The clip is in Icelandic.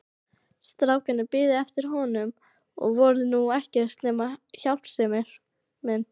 Strákarnir biðu eftir honum og voru nú ekkert nema hjálpsemin.